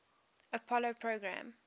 apollo program